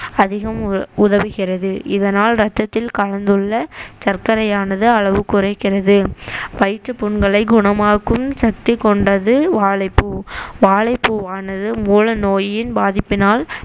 அதிகம் உ~ உதவுகிறது இதனால் ரத்தத்தில் கலந்துள்ள சர்க்கரையானது அளவு குறைக்கிறது வயிற்றுப் புண்களை குணமாக்கும் சக்தி கொண்டது வாழைப்பூ வாழைப்பூவானது மூல நோயின் பாதிப்பினால்